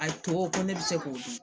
A to ko ne bi se k'o dun